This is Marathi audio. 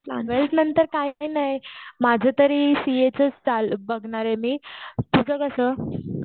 ट्वेल्थ नंतर काय काही नाही. माझं तरी सीएचंच चालू, बघणार आहे मी. तुझं कसं?